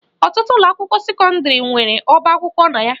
Ọtụtụ ụlọakwụkwọ sekọndịrị nwere ọba akwụkwọ na ya